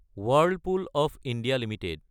Whirlpool of India Ltd